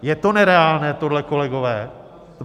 Je to nereálné, tohle, kolegové?